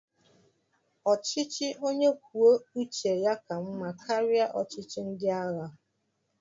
Ọchịchị onye kwuo uche ya ka mmá karịa ọchịchị ndị agha